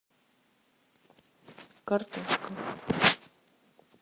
картошка